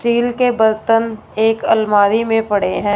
Steel के बर्तन एक अलमारी में पड़े हैं।